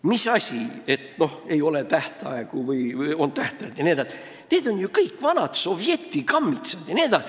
Mis asja, see, kas tähtajad on või ei ole, tähendab vanu soveti kammitsaid jne.